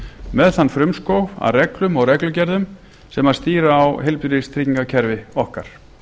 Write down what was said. með þann frumskóg af reglum og reglugerðum sem stýra á heilbrigðistryggingakerfi okkar